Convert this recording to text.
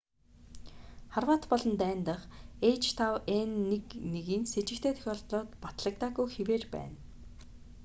хорват болон дани дахь h5n1-н сэжигтэй тохиолдлууд батлагдаагүй хэвээр байна